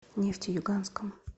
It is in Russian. нефтеюганском